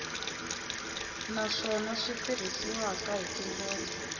naswona swi tirhisiwile hi tindlela